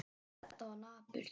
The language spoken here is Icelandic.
Þetta var napurt.